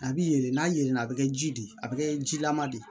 A b'i yelen n'a yelenna a bɛ kɛ ji de ye a bɛ kɛ jilama de ye